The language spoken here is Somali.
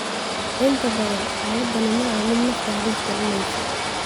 Inta badan, xaaladani maaha mid nafta halis gelinaysa.